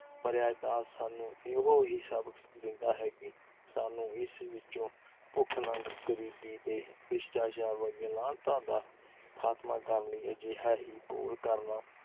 ਭਰਿਆ ਇਤਿਹਾਸ ਸਾਨੂੰ ਇਹੋ ਹੀ ਸਬਕ ਦਿੰਦਾ ਹੈ ਕਿ ਸਾਨੂੰ। ਇਸ ਵਿਚੋਂ ਭੁੱਖ-ਨੰਗ ਗਰੀਬੀ ਤੇ ਭ੍ਰਿਸਟਾਚਾਰ ਵਰਗੀਆਂ ਲਾਹਨਤਾ ਦਾ ਖ਼ਾਤਮਾ ਕਰਨ ਲਈ ਅਜਿਹਾ ਹੀ ਘੋਲ ਕਰਨਾ